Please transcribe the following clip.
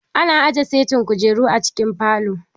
Ana aje setin kujeru a cikin falo.